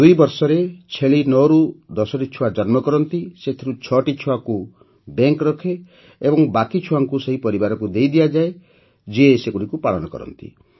୨ ବର୍ଷରେ ଛେଳି ୯ରୁ ୧୦ଟି ଛୁଆ ଜନ୍ମ କରନ୍ତି ସେଥିରୁ ୬ଟି ଛୁଆଙ୍କୁ ବ୍ୟାଙ୍କ ରଖେ ଓ ବାକି ଛୁଆଙ୍କୁ ସେହି ପରିବାରକୁ ଦେଇଦିଆଯାଏ ଯିଏ ସେଗୁଡ଼ିକୁ ପାଳନ କରନ୍ତି